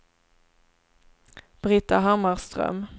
Brita Hammarström